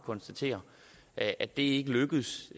konstatere at at det ikke lykkedes